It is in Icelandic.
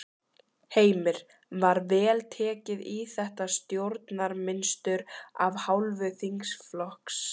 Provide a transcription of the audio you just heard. Heimir: Var vel tekið í þetta stjórnarmynstur af hálfu þingflokksins?